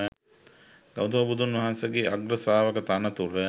ගෞතම බුදුන් වහන්සේගේ අග්‍ර ශ්‍රාවක තනතුර